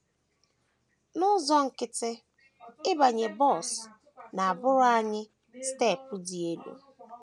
““ N’ụzọ nkịtị, ịbanye bọs na - abụrụ anyị steepụ dị elu.